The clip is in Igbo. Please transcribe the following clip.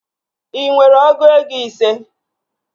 Ị nwere ọgụ ego ise?